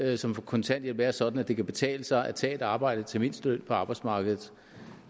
alle som får kontanthjælp er sådan at det kan betale sig at tage et arbejde til mindsteløn på arbejdsmarkedet